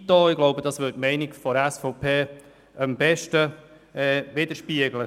Ich glaube, das würde die Meinung der SVP am besten widerspiegeln.